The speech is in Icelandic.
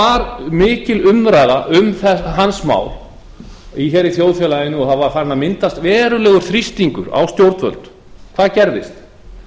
var mikil umræða um hans mál hér í þjóðfélaginu og það var farinn að myndast verulegur þrýstingur á stjórnvöld hvað gerðist